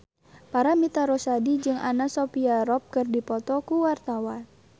Paramitha Rusady jeung Anna Sophia Robb keur dipoto ku wartawan